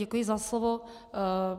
Děkuji za slovo.